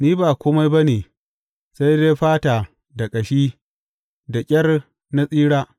Ni ba kome ba ne sai dai fata da ƙashi, da ƙyar na tsira.